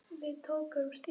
Elsku Ella amma mín.